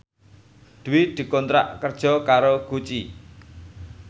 Dwi dikontrak kerja karo Gucci